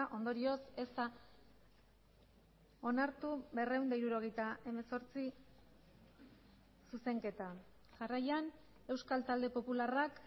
ondorioz ez da onartu berrehun eta hirurogeita hemezortzi zuzenketa jarraian euskal talde popularrak